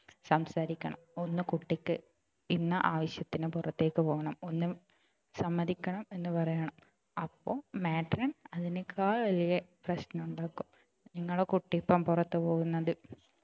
സംസാരിക്കണം ഒന്ന് കുട്ടിക്ക് ഇന്ന ആവശ്യത്തിനു പുറത്തേക്കു പോകണം ഒന്ന് സമ്മതിക്കണം എന്ന് പറയണം അപ്പോൾ matron അതിനേക്കാൾ വലിയ പ്രശ്നം ഉണ്ടാക്കും നിങ്ങളുടെ കുട്ടി ഇപ്പൊ പുറത്തേക്കു പോകുന്നത്